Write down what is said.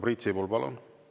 Priit Sibul, palun!